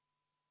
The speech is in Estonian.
Aitäh!